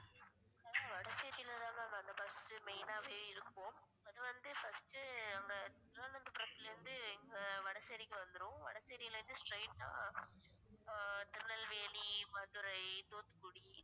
வடசேரியில இருந்துதா ma'am அந்த bus main ஆவே இருக்கும் அது வந்து first அந்த திருவனந்தபுரம்ல இருந்து இங்க வடசேரிக்கு வந்துரும் வடசேரியில இருந்து straight ஆ ஆஹ் திருநெல்வேலி, மதுரை, தூத்துக்குடி